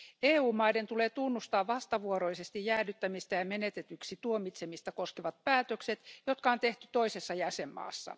EU valtioiden tulee tunnustaa vastavuoroisesti jäädyttämistä ja menetetyksi tuomitsemista koskevat päätökset, jotka on tehty toisessa jäsenvaltiossa.